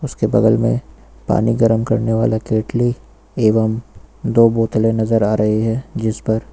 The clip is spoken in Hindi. उसके बगल मे पानी गर्म करने वाला केतली एवं दो बोतले नजर आ रही है जिस पर--